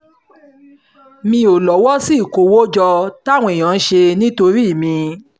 mi ò lọ́wọ́ sí ìkówójọ táwọn èèyàn ń ṣe nítorí mi